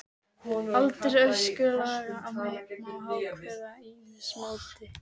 Aldur öskulaga má ákveða með ýmsu móti.